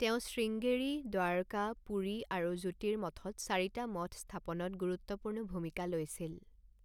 তেওঁ শ্ৰীংগেৰী, দ্বাৰকা, পুৰী আৰু জ্যোতিৰ্মঠত চাৰিটা মঠ স্থাপনত গুৰুত্বপূৰ্ণ ভূমিকা লৈছিল।